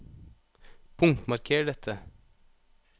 Punktmarker dette